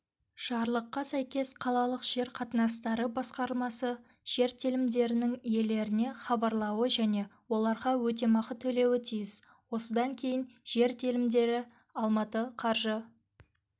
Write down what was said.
жарлыққа сәйкес қалалық жер қатынастары басқармасы жер телімдерінің иелеріне хабарлауы және оларға өтемақы төлеуі тиіс осыдан кейін жер телімдері алматы қаржы